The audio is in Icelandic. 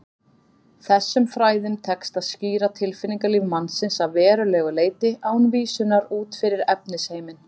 Þessum fræðum tekst að skýra tilfinningalíf mannsins að verulegu leyti án vísunar út fyrir efnisheiminn.